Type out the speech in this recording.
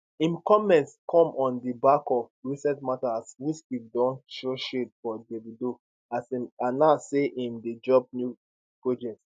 im comments come on di back of recent mata as wizkid don throw shade for davido as im announce say im dey drop new project